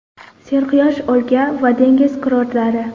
Serquyosh o‘lka va dengiz kurortlari.